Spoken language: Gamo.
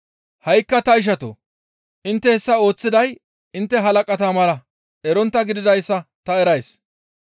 «Ha7ikka ta ishatoo! Intte hessa ooththiday intte halaqata mala erontta gididayssa ta erays.